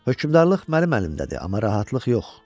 Hökmdarlıq mənim əlimdədir, amma rahatlıq yox.